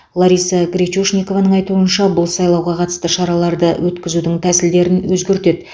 лариса гречушникованың айтуынша бұл сайлауға қатысты шараларды өткізудің тәсілдерін өзгертеді